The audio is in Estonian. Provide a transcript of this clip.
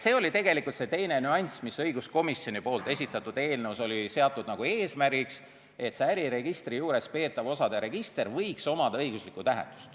See oli teine nüanss, mis õiguskomisjoni esitatud eelnõus oli seatud eesmärgiks, et äriregistri juures peetaval osade registril võiks olla õiguslik tähendus.